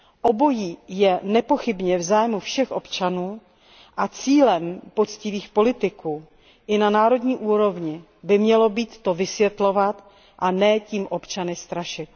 Obojí je nepochybně v zájmu všech občanů a cílem poctivých politiků i na národní úrovni by mělo být to vysvětlovat, a ne tím občany strašit.